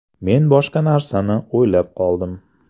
Men boshqa narsani o‘ylab qoldim.